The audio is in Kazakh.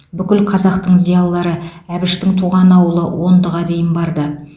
бүкіл қазақтың зиялылары әбіштің туған ауылы ондыға дейін барды